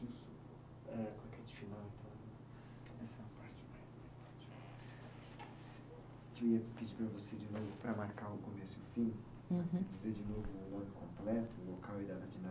Eh, claquete final então, eu queria pedir para você, de novo, para marcar o começo e o fim. Uhum. Dizer de novo o nome completo, local e data de